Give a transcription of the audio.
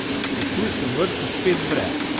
V ptujskem vrtcu spet vre.